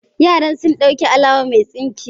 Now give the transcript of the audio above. Yaran sun dauki alawa mai tsinke